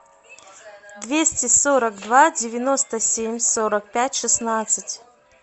двести сорок два девяносто семь сорок пять шестнадцать